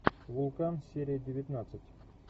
вулкан серия девятнадцать